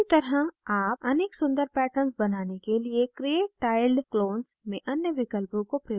उसी तरह आप अनेक सुन्दर patterns बनाने के लिए create tiled clones में अन्य विकल्पों को प्रयोग कर सकते हैं